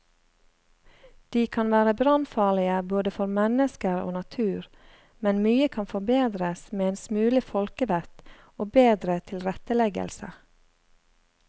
De kan være brannfarlige både for mennesker og natur, men mye kan forbedres med en smule folkevett og bedre tilretteleggelse.